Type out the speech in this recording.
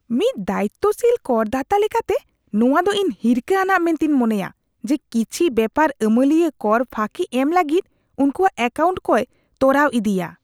ᱢᱤᱫ ᱫᱟᱭᱤᱛᱛᱚᱥᱤᱞ ᱠᱚᱨᱫᱟᱛᱟ ᱞᱮᱠᱟᱛᱮ, ᱱᱚᱶᱟ ᱫᱚ ᱤᱧ ᱦᱤᱨᱠᱷᱟᱹ ᱟᱱᱟᱜ ᱢᱮᱱᱛᱮᱧ ᱢᱚᱱᱮᱭᱟ ᱡᱮ ᱠᱤᱪᱷᱤ ᱵᱮᱯᱟᱨ ᱟᱹᱢᱟᱹᱞᱤᱭᱟᱹ ᱠᱚᱨ ᱯᱷᱟᱹᱠᱤ ᱮᱢ ᱞᱟᱹᱜᱤᱫ ᱩᱱᱠᱚᱣᱟᱜ ᱮᱹᱠᱟᱣᱩᱱᱴ ᱠᱚᱭ ᱛᱚᱨᱟᱣ ᱤᱚᱫᱤᱭᱟ ᱾